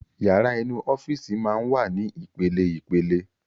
Yàrá inú Ọ́fíìsì máa ń wà ní ìpele ìpele